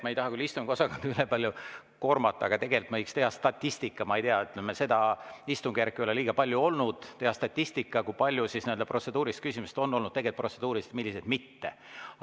Ma ei taha küll istungiosakonda üleliia koormata, aga tegelikult me võiks teha statistikat – seda istungjärku ei ole veel liiga pikalt olnud –, kui paljud protseduurilised küsimused on ka tegelikult olnud protseduurilised ja millised mitte.